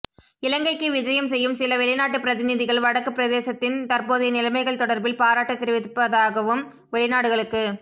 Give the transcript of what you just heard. இலங்கைக்கு விஜயம் செய்யும் சில வெளிநாட்டுப் பிரதிநிதிகள் வடக்கு பிரதேசத்தின் தற்போதைய நிலைமைகள் தொடர்பில் பாராட்டு தெரிவிப்பதாகவும் வெளிநாடுகளுக்கு